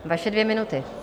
Vaše dvě minuty.